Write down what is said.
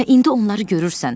Və indi onları görürsən.